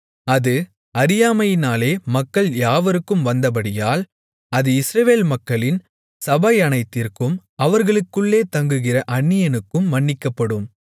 அது அறியாமையினாலே மக்கள் யாவருக்கும் வந்தபடியால் அது இஸ்ரவேல் மக்களின் சபையனைத்திற்கும் அவர்களுக்குள்ளே தங்குகிற அந்நியனுக்கும் மன்னிக்கப்படும்